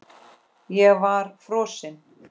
Ég var frosin.